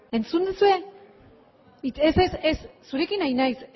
entzun duzue ez ez zurekin ari naiz